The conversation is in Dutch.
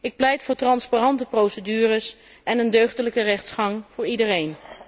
Ik pleit voor transparante procedures en een deugdelijke rechtsgang voor iedereen.